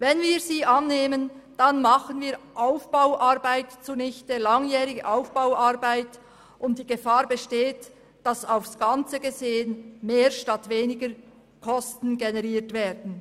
Wenn wir sie annehmen, dann machen wir langjährige Aufbauarbeit zunichte, und die Gefahr besteht, dass aufs Ganze gesehen mehr statt weniger Kosten generiert werden.